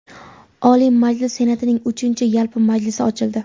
Oliy Majlis Senatining uchinchi yalpi majlisi ochildi.